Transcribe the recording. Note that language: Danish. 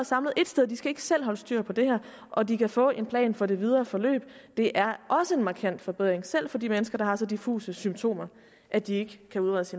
samlet et sted de skal ikke selv holde styr på det her og de kan få en plan for det videre forløb det er også en markant forbedring selv for de mennesker der har så diffuse symptomer at de ikke kan udredes